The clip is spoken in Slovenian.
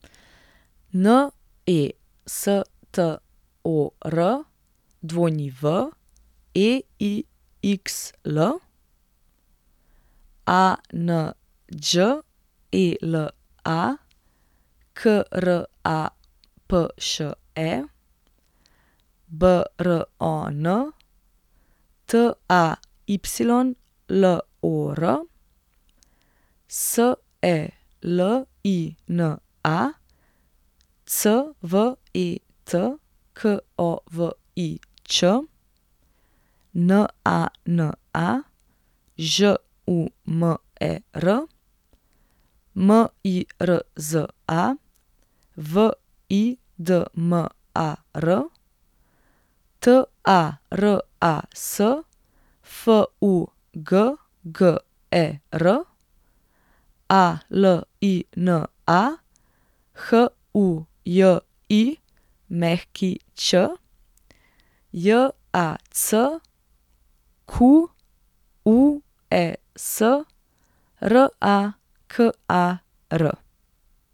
Nestor Weixl, Anđela Krapše, Bron Taylor, Selina Cvetkovič, Nana Žumer, Mirza Vidmar, Taras Fugger, Alina Hujić, Jacques Rakar.